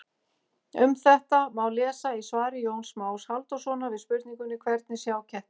Um þetta má lesa í svari Jóns Más Halldórssonar við spurningunni Hvernig sjá kettir?